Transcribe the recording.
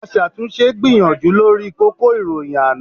Aṣàtúnṣe gbìyànjú lórí kókó ìròyìn àná